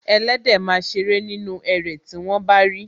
Ẹléde ma ṣeré nínú erè tí wọ́n bá ri